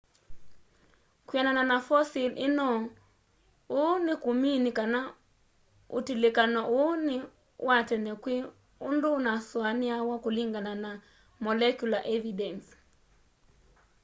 kwianana na fosil ino uu nikumini kana utilikano uu ni wa tene kwi undu unasuaniawa kulingana na molecular evidence